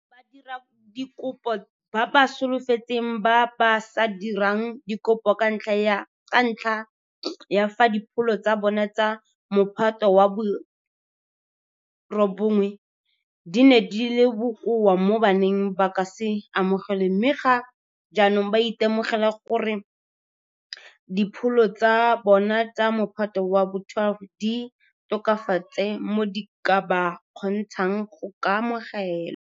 Badiradikopo ba ba solofetsang ba ba sa dirang dikopo ka ntlha ya fa dipholo tsa bona tsa Mophato wa bo 9 di ne di le bokoa mo ba neng ba ka se amogelwe mme ga jaanong ba itemogela gore dipholo tsa bona tsa Mophato wa bo 12 di tokafetse mo di ka ba kgontshang go ka amogelwa.